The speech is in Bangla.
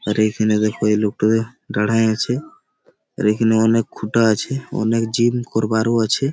আর এখানে দেখো এই লোকটা দাঁড়িয়ে আছে। আর এখানে অনেক খোটা আছে। অনেক জিম করবার আছে।